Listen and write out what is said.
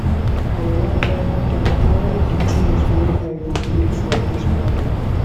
i wan write down all di tins wey i go pray for dis morning